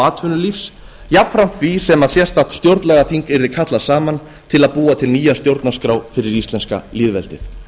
atvinnulífs jafnframt því sem sérstakt stjórnlagaþing yrði kallað saman til að búa til nýja stjórnarskrá fyrir íslenska lýðveldið